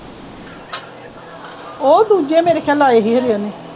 ਉਹ ਦੂਜੇ ਮੇਰੇ ਖਿਆਲ ਲਾਏ ਸੀ ਖਨੀ ਉਹਨੇ